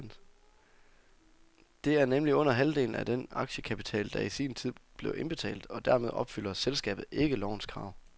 Det er nemlig under halvdelen af den aktiekapital, der i sin tid blev indbetalt, og dermed opfylder selskabet ikke lovens krav.